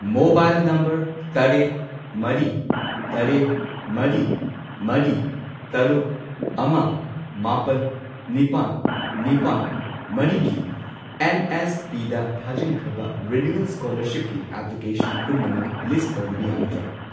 Mobile number ꯇꯔꯦꯠ, ꯃꯔꯤ, ꯇꯔꯦꯠ, ꯃꯔꯤ, ꯃꯔꯤ, ꯇꯔꯨꯛ, ꯑꯃ, ꯃꯥꯄꯟ, ꯅꯤꯄꯥꯟ, ꯅꯤꯄꯥꯜ, ꯃꯔꯤꯒꯤ ꯑꯦꯟ.ꯑꯦꯁ.ꯄꯤ.ꯗ ꯊꯥꯖꯤꯟꯈ꯭ꯔꯕ ꯔꯤꯅ꯭ꯌꯨꯋꯦꯜ ꯁ꯭ꯀꯣꯂꯔꯁꯤꯞꯀꯤ ꯑꯦꯄ꯭ꯂꯤꯀꯦꯁꯟ ꯄꯨꯝꯅꯃꯛ ꯂꯤꯁꯠ ꯇꯧꯕꯤꯕ ꯌꯥꯒꯗ꯭ꯔꯥ?